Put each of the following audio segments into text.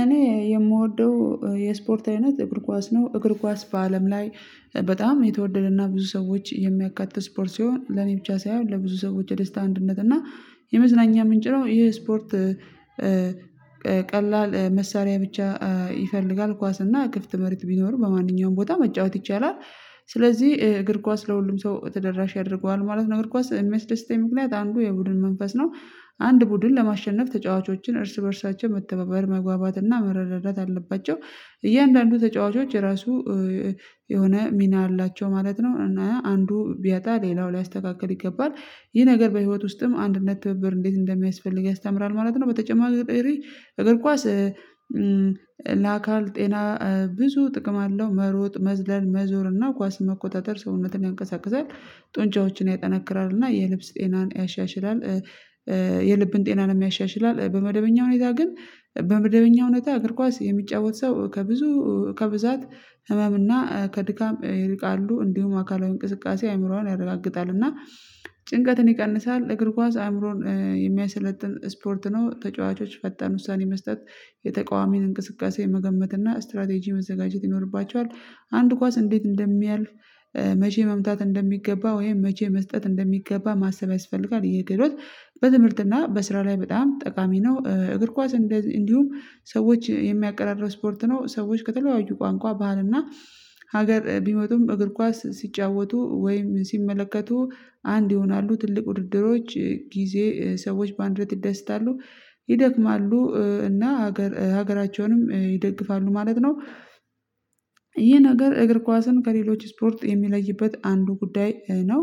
እኔ የምወደው የስፖርት አይነት እግር ኳስ ነው እግር ኳስ በአለም ላይ። በጣም የተወደደና ብዙ ሰዎች የሚያካትት ስፖርት ሲሆን ለኔ ብቻ ሳይሆን ለብዙ ሰዎች የደስታ አንድነት እና የመዝናኛ ምንጭ ነው ይሄ ስፖርት። ቀላል መሳሪያ ብቻ ይፈልጋል ኳስ እና ክፍት መሬት ቢኖር በማንኛውም ቦታ መጫወት ይቻላል። ስለዚህ እግር ኳስ ለሁሉም ሰው ተደራሽ ያደርገዋል ማለት ነው። እግር ኳስ እሚያደስተኛ ምክንያት አንዱ የቡድን መንፈስ ነው። አንድ ቡድን ለማሸነፍ ተጫዋቾችን እርስ በእርሳቸው መተባባል መጓባትና መረዳት አለባቸው። እያንዳንዱ ተጫዋቾች ራሱ የሆነ ሚና አላቸው ማለት ነው። እና አንዱ ቢያጣ ሌላው ሊያስተካክል ይገባል። ይህ ነገር በህይወት ውስጥም አንድነት ትብብር እንዴት እንደሚያስፈልግ ያስተምራል ማለት ነው። በተጨማሪ እግር ኳስ ለአካል ጤና ብዙ ጥቅም አለው መሮጥ መዝለል መዞር እና ኳስ መቆጣጠር ሰውነትን ያንቀሳቅሳል። ጡንጫዎችን ያጠናክራል እና የልብስ ጤናን ያሻሽላል። የልብን ጤናን የሚያሻሽላል በመደበኛ ሁኔታ ግን። በመደበኛ እውነት እግር ኳስ የሚጫወት ሰው ከብዙ ከብዛት ህመም እና ከድካም ይርቃሉ። እንዲሁም አካላዊ እንቅስቃሴ አእምሮዋን ያረጋግጣል እና ጭንቀትን ይቀንሳል። እግር ኳስ አእምሮን የሚያሰለጥን ስፖርት ነው። ተጫዋቾች ፈጣን ውሳኔ መስጠት የተቃዋሚን እንቅስቃሴ መገመት እና ስትራቴጂ መዘጋጀት ይኖርባቸዋል። አንድ ኳስ እንዴት እንደሚያልፍ? መቼ መምታት እንደሚገባ ወይም መቼ መስጠት እንደሚገባ ማሰብ ያስፈልጋል። የግብር በትምህርት እና በስራ ላይ በጣም ጠቃሚ ነው። እግር ኳስ እንዲሁም ሰዎች የሚያቀራርብ ስፖርት ነው። ሰዎች ከተለያዩ ቋንቋ ባህልና ሀገር ቢመጡም እግር ኳስ ሲጫወቱ ወይም ሲመለከቱ። አንድ ይሆናሉ ትልቅ ውድድሮች ጊዜ ሰዎች በአንድ ቤት ይደስታሉ ይደክማሉ እና ሀገር ሀገራቸውንም ይደግፋሉ ማለት ነው። ነገር እግር ኳስን ከሌሎች ስፖርት የሚለይበት አንዱ ጉዳይ ነው።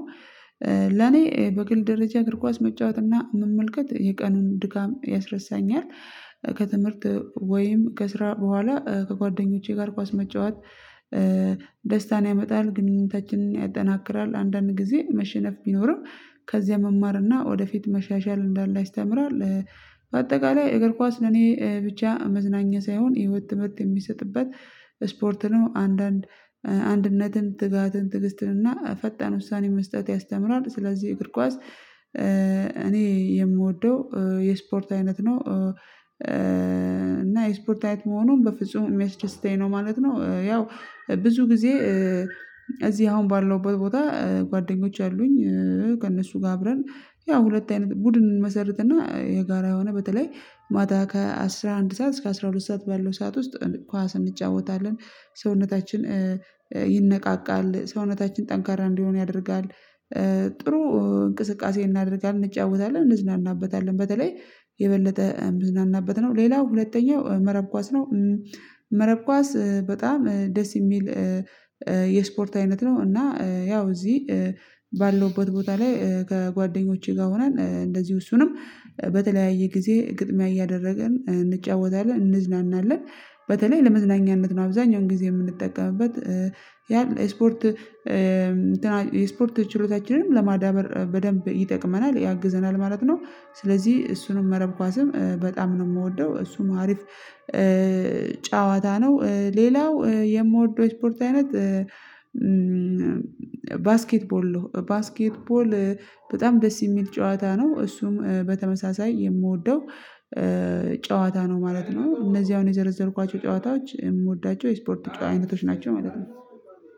ለኔ በግል ደረጃ እግር ኳስ መጫወትና መመልከት የቀኑን ድጋም ያስረሳኛል። ከትምህርት ወይም ከስራ በኋላ ከጓደኞቼ ጋር ኳስ መጫወት ያመጣል ግንኙነታችንን ያጠናክራል አንዳንድ ጊዜ መሸነፍ ቢኖርም። ከዚያ መማር እና ወደፊት መሻሻል እንዳለ ያስተምራል። በአጠቃላይ እግር ኳስ ለኔ ብቻ መዝናኛ ሳይሆን የህይወት ትምህርት የሚሰጥበት ስፖርት ነው። አንዳንድ አንድነትን ትጋትን ትግስትን እና ፈጣን ውሳኔ መስጠት ያስተምራል። ስለዚህ እግር ኳስ ጓዝ እኔ የምወደው የስፖርት አይነት ነው። እና የስፖርታዊት መሆኑን በፍጹም የሚያስተስተኝ ነው ማለት ነው። ያው ብዙ ጊዜ እዚህ አሁን ባለው ቦታ ጓደኞች አሉኝ። ከእነሱ ጋር አብረን ያው ሁለት ቡድን እንመሰርትና የጋራ የሆነ በተለይ ማታ ከአስራ አንድ ሰዓት እስከ አስራ ሁለት ሰዓት ባለው ሰዓት ውስጥ ኳስ እንጫወታለን። ሰውነታችን ይነቃቃል ሰውነታችን ጠንካራ እንዲሆን ያደርጋል። ጥሩ እንቅስቃሴ እናደርጋለን እንጫወታለን እንዝናናበታለን በተለይ የበለጠ እንዝናናበት ነው። ሌላው ሁለተኛው መረብ ኳስ ነው። መረብ ኳስ በጣም ደስ የሚል የስፖርት አይነት ነው። እና ያው እዚህ ባለውበት ቦታ ላይ ከጓደኞቼ ጋር ሆናል እንደዚሁ እሱንም በተለያየ ጊዜ ግጥሚያ እያደረገን እንጫወታለን እንዝናናለን። ለመዝናኛነት ነው አብዛኛውን ጊዜ የምንጠቀምበት ያ ስፖርት። ስፖርት ችሎታችንንም ለማዳበር በደንብ ይጠቅመናል ያግዘናል ማለት ነው። ስለዚህ እሱንም መረብ ኳስም በጣም ነው የምወደው እሱ አሪፍ ጨዋታ ነው። ሌላው የምወደው ስፖርት አይነት። ባስኬትቦል ባስኬትቦል በጣም ደስ የሚል ጨዋታ ነው። እሱም በተመሳሳይ የምወደው ጨዋታ ማለት ነው። እነዚህ አሁን የዘረዘርኳቸው ጨዋታዎች የምወዳቸው የስፖርት አይነቶች ናቸው ማለት ነው።